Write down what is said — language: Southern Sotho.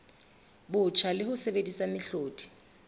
botjha le ho sebedisa mehlodi